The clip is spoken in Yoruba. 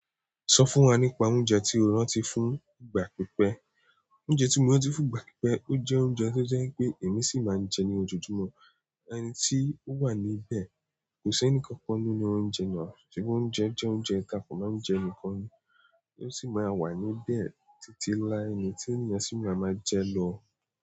Sọ fún wa nípa oúnjẹ tí o rántí fún ìgbà pípẹ́. Oúnjẹ tí mo rántí fún ìgbà pípẹ́, ó jẹ́ oúnjẹ tó jẹ́ n pé èmi sì máa ń jẹ ní ojoojúmọ́, ẹni tí ó wà níbẹ̀ kò sí ẹnìkan kan nínú oúnjẹ náà, sebi oúnjẹ jẹ́ oúnjẹ ti a kò máa ń jẹ níkan ni, tí ó sì máa wà níbé títí lái ni tí ènìyàn sì máa máa jẹ́ ló.